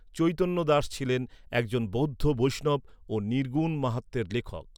চৈতন্য দাস ছিলেন একজন বৌদ্ধ বৈষ্ণব ও নির্গুণ মাহাত্ম্যের লেখক।